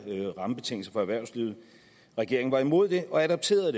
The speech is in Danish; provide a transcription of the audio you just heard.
rammebetingelser for erhvervslivet regeringen var imod det og adopterede